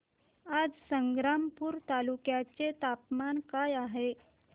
आज संग्रामपूर तालुक्या चे तापमान काय आहे